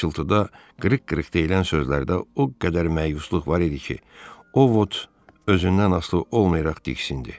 Bu pıçıltıda qırıq-qırıq deyilən sözlərdə o qədər məyusluq var idi ki, Ovot özündən asılı olmayaraq diksindi.